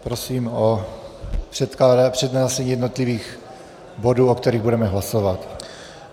Prosím o přednášení jednotlivých bodů, o kterých budeme hlasovat.